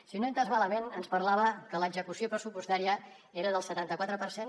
si no ho he entès malament ens parlava que l’execució pressupostària era del setanta quatre per cent